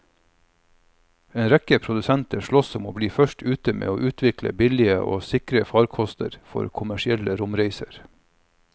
En rekke produsenter sloss om å bli først ute med å utvikle billige og sikre farkoster for kommersielle romreiser.